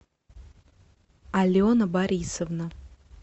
алена борисовна